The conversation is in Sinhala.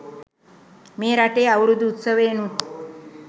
මේ රටේ අවුරුදු උත්සවයෙනුත්